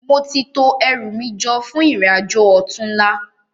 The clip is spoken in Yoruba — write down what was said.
Móti tó èrú mi jò fún irin ájó òtúnlá